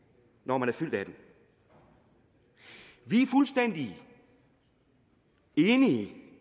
når man er fyldt atten år vi er fuldstændig enige